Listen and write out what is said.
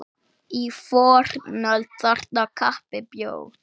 Í fornöld þarna kappi bjó.